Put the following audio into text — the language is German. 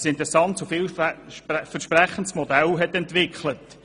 Es heisst, sie habe dazu ein interessantes und vielversprechendes Modell entwickelt.